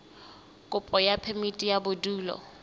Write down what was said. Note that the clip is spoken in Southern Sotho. kopo ya phemiti ya bodulo